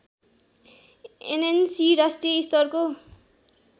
ANC राष्ट्रिय स्तरको